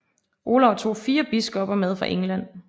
Olav tog fire biskopper med fra England